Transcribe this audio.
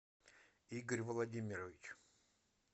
игорь владимирович